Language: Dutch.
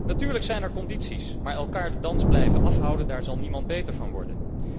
Natuurlijk zijn er condities, maar elkaar de dans blijven afhouden, daar zal niemand beter van worden.